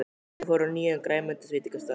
Þau fóru á nýjan grænmetisveitingastað.